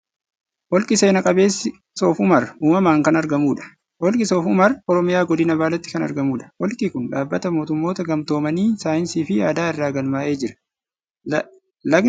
Holqi seena qabeessi Soof umar uumamaan kan aragmuudha . Holqi Soof Umar Oromiyaa godina baaleetti kan argamuudha. Holqi kun dhaabbata mootummoota gamtoomanii saayinsii fi aadaa irratti galmaa'ee jira. Lagani keessaan yaa'a.